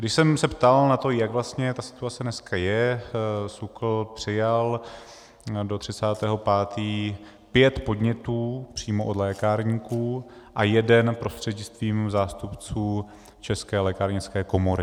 Když jsem se ptal na to, jaká vlastně ta situace dneska je, SÚKL přijal do 30. 5. pět podnětů přímo od lékárníků a jeden prostřednictvím zástupců České lékárnické komory.